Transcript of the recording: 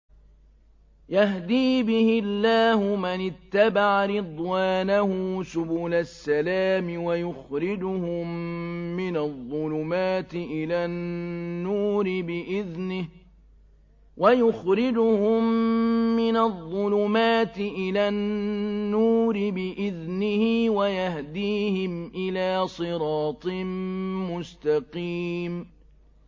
يَهْدِي بِهِ اللَّهُ مَنِ اتَّبَعَ رِضْوَانَهُ سُبُلَ السَّلَامِ وَيُخْرِجُهُم مِّنَ الظُّلُمَاتِ إِلَى النُّورِ بِإِذْنِهِ وَيَهْدِيهِمْ إِلَىٰ صِرَاطٍ مُّسْتَقِيمٍ